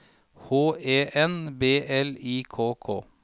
H E N B L I K K